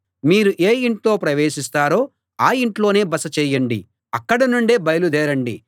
మీరు ఏ ఇంట్లో ప్రవేశిస్తారో ఆ ఇంట్లోనే బస చేయండి అక్కడ నుండే బయలుదేరండి